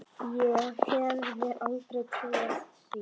Ég hefði aldrei trúað því.